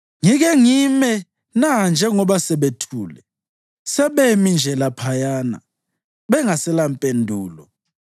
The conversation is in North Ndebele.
Ngike ngime na njengoba sebethule, sebemi nje laphayana bengaselampendulo?